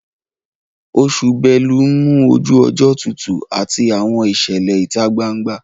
Oṣù belu ń mú ojú ọjọ́ tutù àti àwọn ìṣẹ̀lẹ̀ ìta gbangba